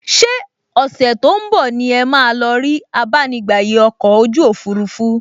Ṣé ọ̀sẹ̀ tó ún bọ̀ ni ẹ máa lọ rí abánigbàyè ọkọ̀ ojú òfurufú??